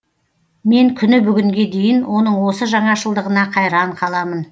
мен күні бүгінге дейін оның осы жаңашылдығына қайран қаламын